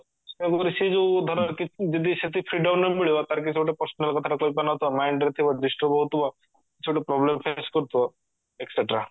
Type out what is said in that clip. ଆ ପରେ ସେ ଯଉ ଧର ଯଦି ସେତିକି freedom ନମିଳିବ ତାର କିଛି ଗୋଟେ personal କଥାଟେ କହିପାରୁନଥିବ mind ରେ ଥିବ disturb ହଉଥିବ କିଛି ଗୋଟେ problem face କରୁଥିବ ETC